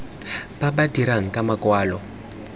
ba ba dirang ka makwalo